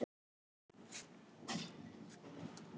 Þessar fréttir snerta hann líka.